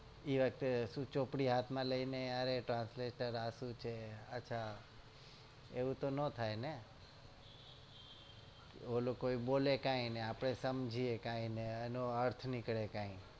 એ શું ચોપડી હાથ માં લઇ અરે translation આ શું છે અચ્છા એવું તો ના થાય ને એલો બોલે કઈ આપડે સમજીએ કઈ ને એનો અર્થ નીકળે કઈ